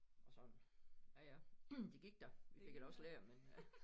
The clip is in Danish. Og sådan ja ja det gik da vi det da også lært men øh